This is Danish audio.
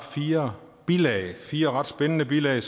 fire bilag fire ret spændende bilag